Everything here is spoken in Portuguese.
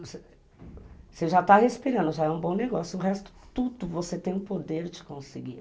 Você já está respirando, já é um bom negócio, o resto, tudo, você tem o poder de conseguir.